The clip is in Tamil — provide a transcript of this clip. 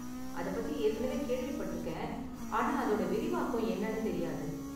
அதப்பத்தி ஏற்கனவே கேள்விப்பட்டிருக்கேன், ஆனா அதோட விரிவாக்கம் என்னனு தெரியாது.